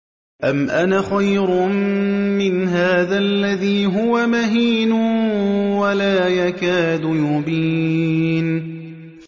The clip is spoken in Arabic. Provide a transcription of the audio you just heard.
أَمْ أَنَا خَيْرٌ مِّنْ هَٰذَا الَّذِي هُوَ مَهِينٌ وَلَا يَكَادُ يُبِينُ